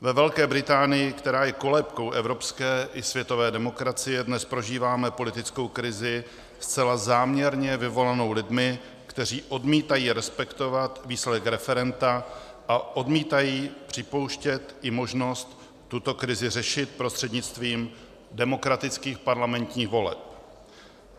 Ve Velké Británii, která je kolébkou evropské i světové demokracie, dnes prožíváme politickou krizi zcela záměrně vyvolanou lidmi, kteří odmítají respektovat výsledek referenda a odmítají připouštět i možnost tuto krizi řešit prostřednictvím demokratických parlamentních voleb.